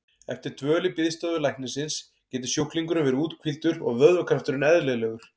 Eftir dvöl í biðstofu læknisins getur sjúklingurinn verið úthvíldur og vöðvakrafturinn eðlilegur.